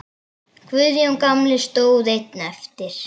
Guðjón gamli stóð einn eftir.